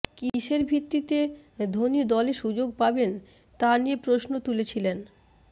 কীসের ভিত্তিতে ধোনি দলে সুযোগ পাবেন তা নিয়ে প্রশ্ন তুলেছিলেন